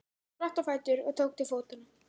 Hann spratt á fætur og tók til fótanna.